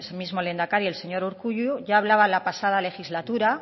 mismo lehendakari el señor urkullu ya hablaba la pasada legislatura